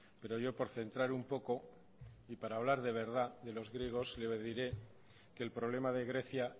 pero yo por centrar un poco y para hablar de verdad de los griegos le diré que el problema de grecia